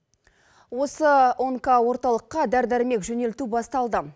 осы онкоорталыққа дәрі дәрмек жөнелту басталды